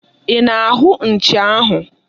Ị na-ahụ nchi ahụ?